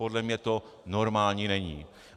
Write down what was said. Podle mě to normální není.